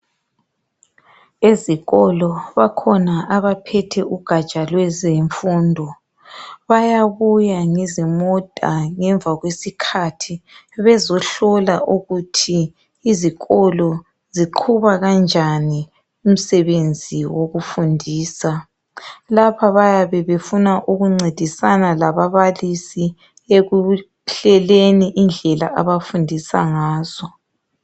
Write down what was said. Ezikolo bakhona abaphethe ugatsha lwezemfundo . Bayabuya ngezimota ngemva kwesikhathi bezohlola ukuthi izikolo ziqhuba kanjani umsebenzi wokufundisa. Lapha bayabe befuna ukuncedisana lababalisi ekuhleleni indlela abafundisa ngazo.